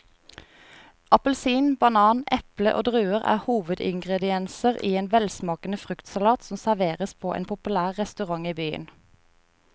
Appelsin, banan, eple og druer er hovedingredienser i en velsmakende fruktsalat som serveres på en populær restaurant i byen.